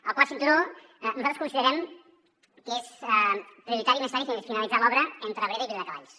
el quart cinturó nosaltres considerem que és prioritari i necessari finalitzar l’obra entre abrera i viladecavalls